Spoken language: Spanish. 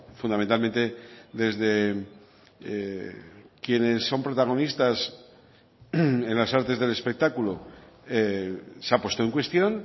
fundamentalmente desde quienes son protagonistas en las artes del espectáculo se ha puesto en cuestión